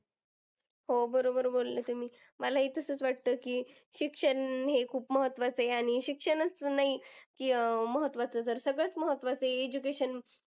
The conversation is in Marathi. हो बरोबर बोलले तुम्ही. मला ही तसंच वाटतं की शिक्षण हे खूप महत्वाचं आहे. आणि शिक्षणच नाही की अं महत्वाचं तर सगळंच महत्वाचंआहे. education